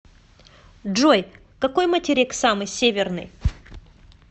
джой какой материк самый северный